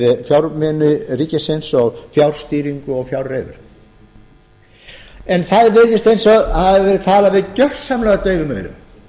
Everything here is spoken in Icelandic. fjármuni ríkisins og fjárstýringu og fjárreiður en það virðist eins og talað hafi verið fyrir gersamlega daufum eyrum